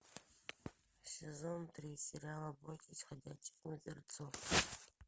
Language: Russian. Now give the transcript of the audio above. сезон три сериал бойтесь ходячих мертвецов